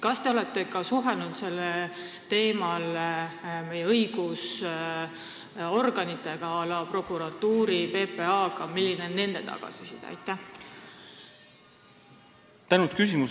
Kas te olete suhelnud sellel teemal ka meie õigusorganitega, näiteks prokuratuuriga, PPA-ga, ja milline on nende tagasiside?